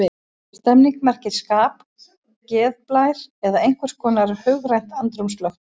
Stemning merkir skap, geðblær eða einhvers konar hugrænt andrúmsloft.